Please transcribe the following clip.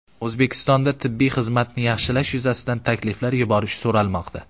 O‘zbekistonda tibbiy xizmatni yaxshilash yuzasidan takliflar yuborish so‘ralmoqda.